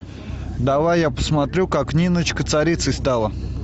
давай я посмотрю как ниночка царицей стала